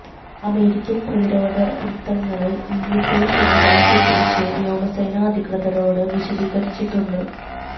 American പ്രതിരോധവൃത്തങ്ങള് ഈ missile സംവിധാനത്തെക്കുറിച്ച് വ്യോമസേനാ അധികൃതരോട് വിശദീകരിച്ചിട്ടുണ്ട്